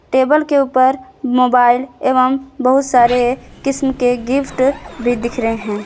Table के ऊपर mobile एवं बहुत सारे किस्म के गिफ्ट भी दिख रहे हैं।